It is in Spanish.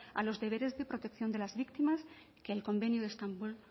a los deberes de protección de las víctimas que el convenio de estambul